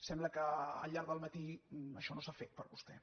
sembla que al llarg del matí això no s’ha fet per a vostè